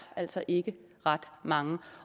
altså ikke ret mange